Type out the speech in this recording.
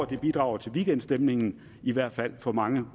vil bidrage til veekendstemningen i hvert fald for mange